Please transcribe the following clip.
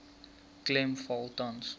klem val tans